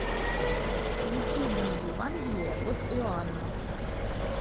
включи мне евангелие от иоанна